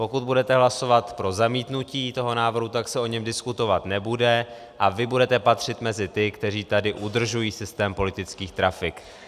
Pokud budete hlasovat pro zamítnutí toho návrhu, tak se o něm diskutovat nebude a vy budete patřit mezi ty, kteří tady udržují systém politických trafik.